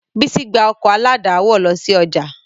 Bísí gbá ọkọ̀ aládàáwọ̀ lọ sí ọjà